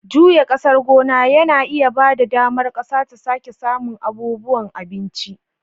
Juya ƙasar gona yana ba da damar ƙasa ta sake samun abubuwan abinci.